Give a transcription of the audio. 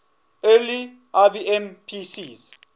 early ibm pcs